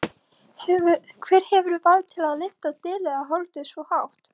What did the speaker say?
Hver hefur vald til að lyfta dauðlegu holdi svo hátt?